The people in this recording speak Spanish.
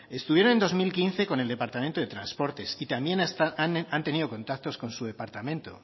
estuvieron en dos mil quince con el departamento de transporte y también han tenido contactos con su departamento